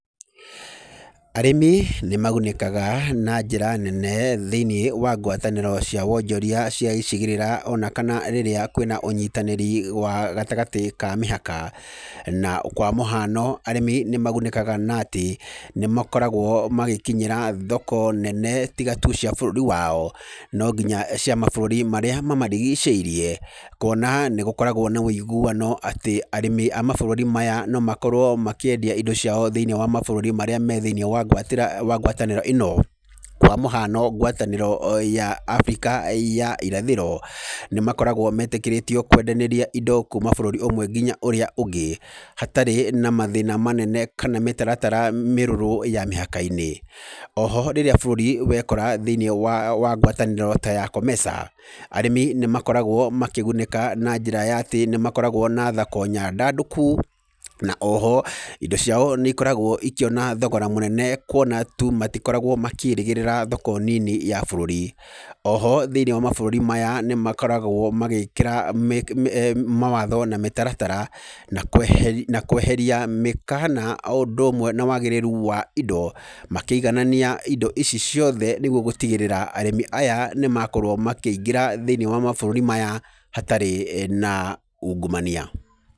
Arĩmi nĩ magunĩkaga na njĩra nene thĩiniĩ wa ngwatanĩro cia wonjoria cia icigĩrĩra, ona kana rĩrĩa kwĩna ũnyitanĩri wa gatagatĩ ka mĩhaka. Na kwa mũhano, arĩmi nĩ magunĩkaga na atĩ, nĩ makoragwo magĩnyĩra thoko nene tiga tu cia bũrũri wao, no nginya cia mabũrũri marĩa mamarigicĩirie. Kuona nĩ gũkoragwo na wĩiguano atĩ arĩmi a mabũrũri maya no makorwo makĩendia indo ciao thĩiniĩ wa mabũrũri marĩa me thĩiniĩ wa ngwatanĩro ĩno. Kwa mũhano ngwatanĩro ya Abirika ya irathĩro, nĩ makoragwo metĩkĩrĩtwo kwendanĩrĩa indo kuuma bũrũri ũmwe nginya ũrĩa ũngĩ, hatarĩ na mathĩna manene kana mĩtaratara mĩrũrũ ya mĩhaka-inĩ. Oho, rĩrĩa bũrũri wekora thĩiniĩ wa wa ngwatanĩro ta ya COMESA arĩmi nĩ makoragwo makĩgunĩka na njĩra ya atĩ, nĩ makoragwo na thako nyandandũku, na oho, indo ciao nĩ ikoragwo ikĩona thogora mũnene kuona tu matikoragwo makĩĩrĩgĩrĩra thoko nini ya bũrũri. Oho thĩiniĩ wa mabũrũri maya nĩ makoragwo magĩkĩra eeh mawatho na mĩtaratara, na na kweheria mĩkana o ũndũ ũmwe na wagĩrĩru wa indo. Makĩiganania indo ici ciothe nĩguo gũtigĩrĩra arĩmi aya nĩ makorwo makĩingĩra thĩiniĩ wa mabũrũri maya hatarĩ na ungumania.